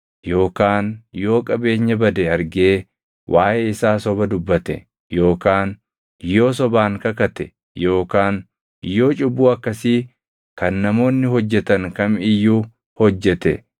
yookaan yoo qabeenya bade argee waaʼee isaa soba dubbate yookaan yoo sobaan kakate yookaan yoo cubbuu akkasii kan namoonni hojjetan kam iyyuu hojjete,